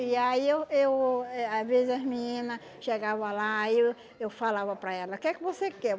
E aí eu eu eh às vezes as menina chegava lá e eu eu falava para elas, que é que você quer?